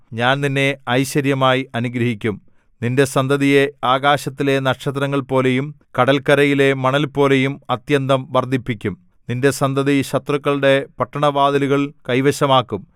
ഞാൻ നിന്നെ ഐശ്വര്യമായി അനുഗ്രഹിക്കും നിന്റെ സന്തതിയെ ആകാശത്തിലെ നക്ഷത്രങ്ങൾപോലെയും കടൽക്കരയിലെ മണൽപോലെയും അത്യന്തം വർദ്ധിപ്പിക്കും നിന്റെ സന്തതി ശത്രുക്കളുടെ പട്ടണവാതിലുകൾ കൈവശമാക്കും